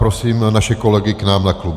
Prosím naše kolegy k nám na klub.